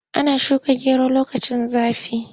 Ana shuka gero lokacin zafi.